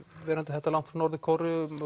verandi þetta langt frá Norður Kóreu